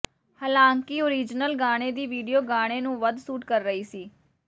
ਹਾਲਾਂਕਿ ਓਰੀਜਨਲ ਗਾਣੇ ਦੀ ਵੀਡੀਓ ਗਾਣੇ ਨੂੰ ਵੱਧ ਸੂਟ ਕਰ ਰਹੀ ਸੀ